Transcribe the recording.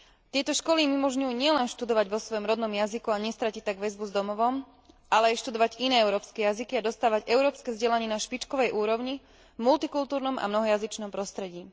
Tieto školy im umožňujú nielen študovať vo svojom rodnom jazyku a nestratiť tak väzbu s domovom, ale aj študovať iné európske jazyky a dostávať európske vzdelanie na špičkovej úrovni, v multikultúrnom a mnohojazyčnom prostredí.